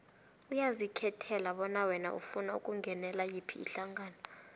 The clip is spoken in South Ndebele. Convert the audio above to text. uyazikhethela bona wena ufuna ukungenela yiphi ihlangano